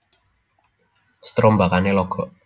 Strombakane logok